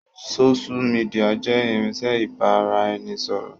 Sósú midià jẹ́ irinsẹ́ ibà ra ẹni ṣọ̀rọ̀